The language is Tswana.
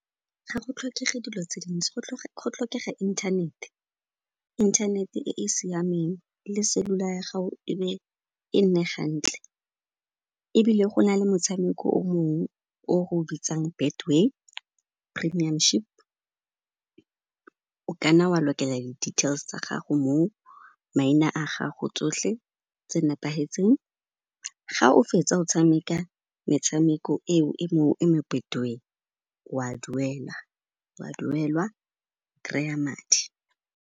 Ga go tlhokege dilo tse dintsi, go tlhokega inthanete, inthanete e e siameng le cellular ya gago e nne gantle ebile go na le motshameko o mongwe, o r'o bitsang Betway Premiumship. O ka nna wa lokela di-details tsa gago moo, maina a gago, tsohle tse nepahetseng, ga o fetsa o tshameka metshameko eo e mo Betway, wa duelwa, kry-a madi.